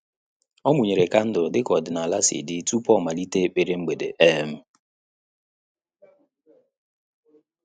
Ọ́ mụ́nyèrè kandụl dịka ọ́dị́nála sì dị tupu ọ́ màlị́tè ekpere mgbede. um